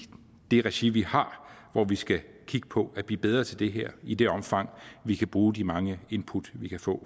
det regi vi har vi skal kigge på at blive bedre til det her i det omfang vi kan bruge de mange input vi kan få